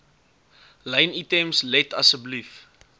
lynitems let asseblief